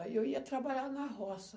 Aí eu ia trabalhar na roça.